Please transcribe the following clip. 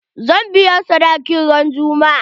Zan biya sadakin kin ran juma'a.